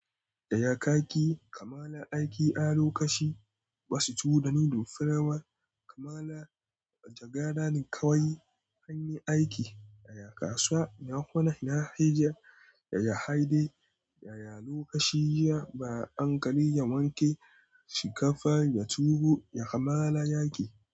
Yaya kaki kamala aiki a lokaci? Ba su tuwo da noodle. Firawar kamala jagara kawai. Hanyar aiki ya kasuwa. Nahona nahijiya ya haɗe da lokaci. Ba anƙali ya wanke shinkafa, ya tuwo ya kamala aiki.